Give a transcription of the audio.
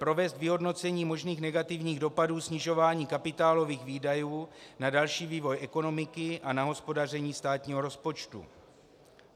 Provést vyhodnocení možných negativních dopadů snižování kapitálových výdajů na další vývoj ekonomiky a na hospodaření státního rozpočtu.